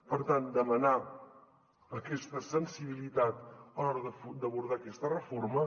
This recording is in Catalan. per tant demanar aquesta sensibilitat a l’hora d’abordar aquesta reforma